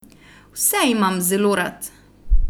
Vse imam zelo rad!